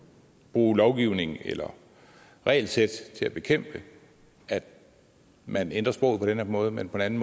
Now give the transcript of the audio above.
bruge lovgivning eller regelsæt til at bekæmpe at man ændrer sproget på den her måde men den anden